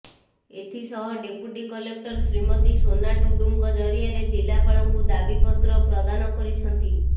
ଏଥି ସହ deputy collector Shrimati Sona ଟୁଡୁଙ୍କ ଜରିଆରେ ଜିଲ୍ଲାପାଳଙ୍କୁ ଦାବିପତ୍ର ପ୍ରଦାନ କରିଛନ୍ତି